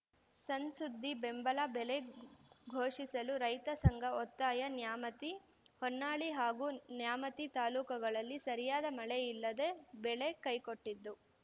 ಸಣ್‌ ಸುದ್ದಿ ಬೆಂಬಲ ಬೆಲೆ ಘೋಷಿಸಲು ರೈತ ಸಂಘ ಒತ್ತಾಯ ನ್ಯಾಮತಿ ಹೊನ್ನಾಳಿ ಹಾಗೂ ನ್ಯಾಮತಿ ತಾಲೂಕುಗಳಲ್ಲಿ ಸರಿಯಾದ ಮಳೆ ಇಲ್ಲದೆ ಬೆಳೆ ಕೈಕೊಟ್ಟಿದ್ದು